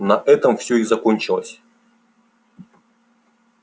на этом всё и закончилось